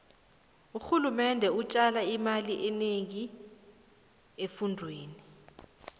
urhulumende ujala imali enengi efundweni